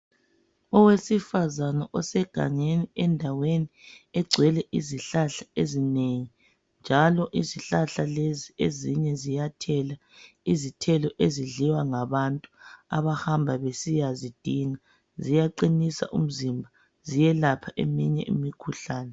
Owesifazana osegangeni endaweni egcwele izihlahla ezinengi njalo izihlahla lezi ezinye ziyathela izithelo ezidliwa ngabantu abahamba besiyazidinga ziyaqinisa umzimba ziyelapha eminye imikhuhlane.